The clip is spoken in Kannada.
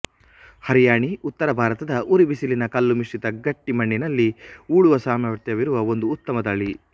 ಹರಿಯಾಣಿ ಉತ್ತರ ಭಾರತದ ಉರಿಬಿಸಿಲಿನ ಕಲ್ಲುಮಿಶ್ರಿತ ಗಟ್ಟಿಮಣ್ಣಿನಲ್ಲಿ ಉಳುವ ಸಾಮರ್ಥ್ಯವಿರುವ ಒಂದು ಉತ್ತಮ ತಳಿ